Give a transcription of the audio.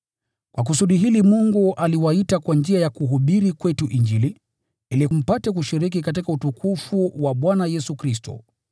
Kwa kusudi hili Mungu aliwaita kwa njia ya kuhubiri kwetu Injili, ili mpate kushiriki katika utukufu wa Bwana Yesu Kristo.